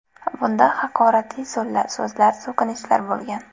Bunda haqoratli so‘zlar, so‘kinishlar bo‘lgan.